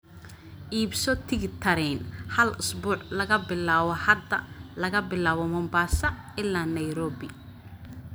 iibso tigidh tareen hal usbuuc laga bilaabo hadda laga bilaabo mombasa ilaa Nairobi